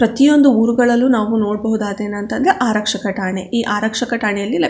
ಪ್ರತಿಯೊಂದು ಉರ್ ಗಳಲ್ಲು ನಾವು ನೋಡಬಹುದಾದ ಏನ್ ಅಂತ ಅಂದ್ರೆ ಆರಕ್ಷಕ ಠಾಣೆ ಈ ಆರಕ್ಷಕ ಠಾಣೆಲಿ --